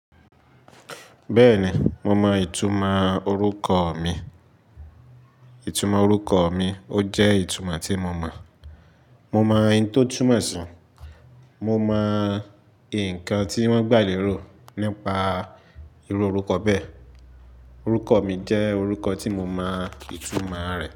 Bẹ́ẹ̀ni, mo mọ ìtumọ̀ orúkọ mi. Ìtumọ̀ orúkọ mi, ó jẹ́ ìtumọ̀ tí mo mọ̀. Mo mọ ohun tó túmọ̀ síi, mo mọ nǹkan tí wọ́n gbà lérò nípa irú orúkọ bẹ́ẹ̀. Orúkọ mi jẹ́ orúkọ tí mo mọ ìtumọ̀ rẹ̀.